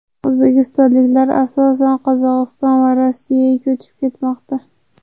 O‘zbekistonliklar asosan Qozog‘iston va Rossiyaga ko‘chib ketmoqda.